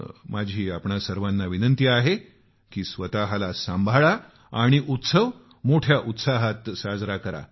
माझा आपणा सर्वाना आग्रह आहे की स्वतःला सांभाळा आणि उत्सव मोठ्या उत्साहात साजरा करा